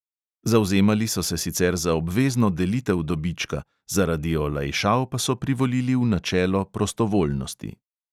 Zavzemali so se sicer za obvezno delitev dobička, zaradi olajšav pa so privolili v načelo prostovoljnosti.